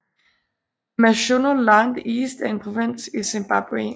Mashonaland East er en provins i Zimbabwe